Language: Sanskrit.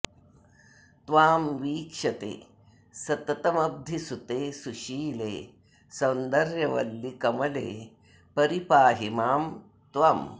त्वां वीक्षते सततमब्धिसुते सुशीले सौन्दर्यवल्लि कमले परिपाहि मां त्वम्